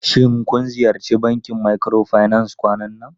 Shin kun ziyarci bankin microfinance kwanan nan?